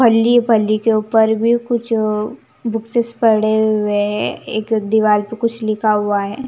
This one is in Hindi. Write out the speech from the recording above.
फल्ली पल्ली के ऊपर भी कुछ बुक्स से पढ़े हुए हैं एक दीवार पर कुछ लिखा हुआ है.